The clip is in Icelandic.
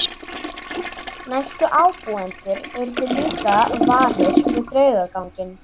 Næstu ábúendur urðu líka varir við draugaganginn.